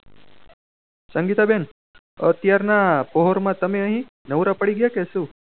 સંગીતા બેન અત્યાર ના પહોળ માં તમે નવરા પડી ગયા કે શું